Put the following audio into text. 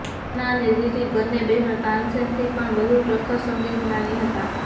તાના અને રીરી બન્ને બહેનો તાનસેનથી પણ વધુ પ્રખર સંગીત જ્ઞાની હતા